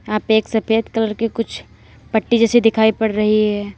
यहां पे सफेद कलर के कुछ पट्टी जैसे दिखाई पड़ रही है।